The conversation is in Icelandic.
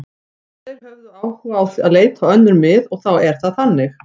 Þeir höfðu áhuga á að leita á önnur mið og þá er það þannig.